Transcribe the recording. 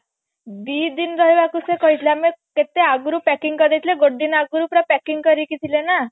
ଦିଦିନ ରହିବାକୁ ସେ କହିଥିଲେ ଆମେ କେତେ ଆଗରୁ packing କରି ଦେଇଥିଲେ ଗୋଟେ ଦିନ ଆଗରୁ ପୁରା packing କରିକି ଥିଲେ ନା